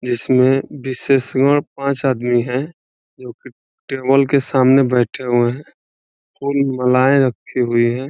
जिसमे पांच आदमी है। जो की टेबल के सामने बैठे हुए है। कोई मालाए रखी हुई है।